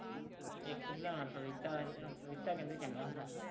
ਇੱਕ ਲਿਆਉਣਾ ਪਪੀਤਾ ਇਹਨਾਂ ਨੂੰ ਪਪੀਤਾ ਕਹਿੰਦੇ ਚੰਗਾ ਹੁੰਦਾ